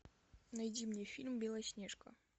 найди мне фильм белоснежка